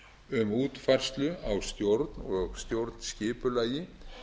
um útfærslu á stjórn og stjórnskipulagi